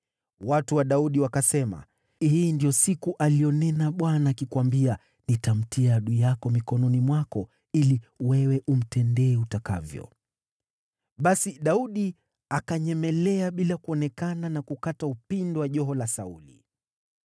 Watu wa Daudi wakasema, “Hii ndiyo siku aliyonena Bwana akikuambia, ‘Nitamtia adui yako mikononi mwako ili wewe umtendee utakavyo.’ ” Basi Daudi akanyemelea bila kuonekana na kukata upindo wa joho la Sauli.